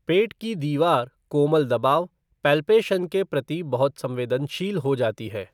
पेट की दीवार कोमल दबाव, पैल्पेशन के प्रति बहुत संवेदनशील हो जाती है।